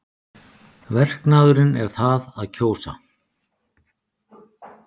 Verknaðurinn er það að kjósa.